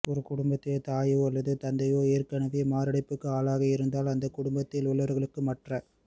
ஒரு குடும்பத்தில் தாயோ அல்லது தந்தையோ ஏற்கெனவே மாரடைப்புக்கு ஆளாகியிருந்தால் அந்தக் குடும்பத்தில் உள்ளவர்களுக்கு மற்ற